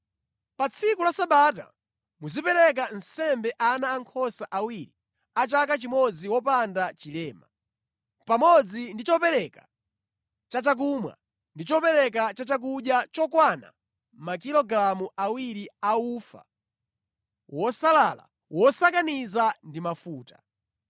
“ ‘Pa tsiku la Sabata, muzipereka nsembe ana ankhosa awiri a chaka chimodzi wopanda chilema, pamodzi ndi chopereka chachakumwa ndi chopereka chachakudya chokwana makilogalamu awiri a ufa wosalala wosakaniza ndi mafuta.